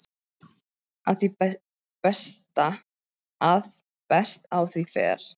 að best á því fer